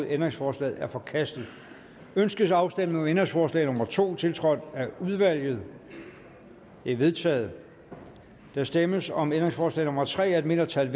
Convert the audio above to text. ændringsforslaget er forkastet ønskes afstemning om ændringsforslag nummer to tiltrådt af udvalget det er vedtaget der stemmes om ændringsforslag nummer tre af et mindretal